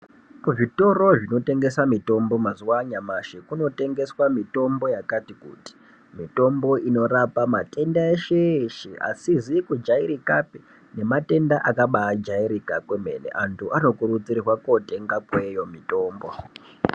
Kuzvitoro zvinotengesa mitombo mazuwa anyamashi kunotengeswa mitombo yakati kuti ,mitombo inorapa matenda eshe eshe asizi kujairika nematenda akabaajairika kwemene , antu anokurudzirwa kotenga kweyo mitombo.